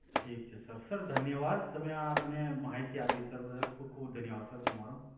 ઠીક છે sir sir ધન્યવાદ તમે આ મને માહિતી આપી સર બદલ ખુબ ખુબ ધન્યવાદ સર તમારો